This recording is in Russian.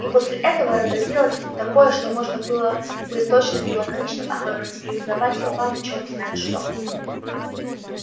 и после этого разразилось такое что можно было бы точно и лаконично охарактеризовать словами чёрт знает что